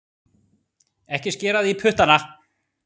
Ekki skera þig í puttana